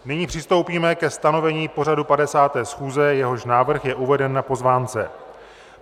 Nyní přistoupíme ke stanovení pořadu 50. schůze, jehož návrh je uveden na pozvánce.